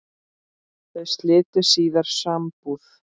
Þau slitu síðar sambúð.